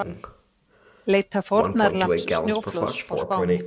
Leita fórnarlambs snjóflóðs á Spáni